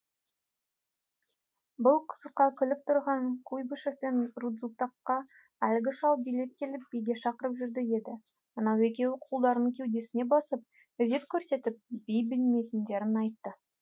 бұл қызыққа күліп тұрған куйбышев пен рудзутакқа әлгі шал билеп келіп биге шақырып жүр еді ана екеуі қолдарын кеудесіне басып ізет көрсетіп би білмейтіндерін айтты